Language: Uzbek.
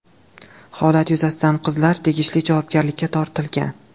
Holat yuzasidan qizlar tegishli javobgarlikka tortilgan.